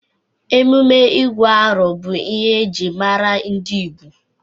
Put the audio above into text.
Emume ịgụ arọ bụ ihe ejiri mara ndị Igbo.